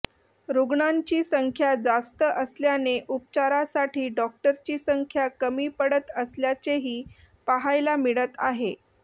रुग्णांची संख्या जास्त असल्याने उपचारासाठी डॉक्टरची संख्या कमी पडत असल्याचेही पाहायला मिळत आहे